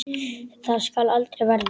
Það skal aldrei verða!